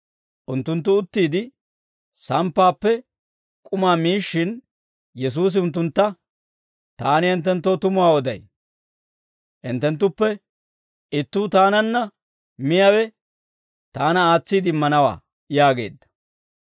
Unttunttu uttiide samppaappe k'umaa miishshin, Yesuusi unttuntta, «Taani hinttenttoo tumuwaa oday; hinttenttuppe ittuu taananna miyaawe, taana aatsiide immanawaa» yaageedda.